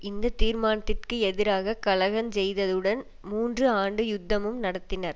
இந்த தீர்மானத்திற்கு எதிராக கலகஞ்செய்ததுடன் மூன்று ஆண்டு யுத்தமும் நடத்தினர்